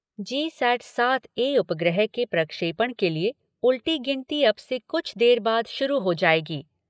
जी sat सात A उपग्रह के प्रक्षेपण के लिए उलटी गिनती अब से कुछ देर बाद शुरु हो जाएगी।